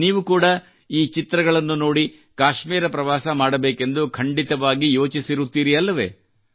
ನೀವು ಕೂಡಾ ಈ ಚಿತ್ರಗಳನ್ನು ನೋಡಿ ಕಾಶ್ಮೀರ ಪ್ರವಾಸ ಮಾಡಬೇಕೆಂದು ಖಂಡಿತವಾಗಿ ಯೋಚಿಸಿರುತ್ತೀರಿ ಅಲ್ಲವೇ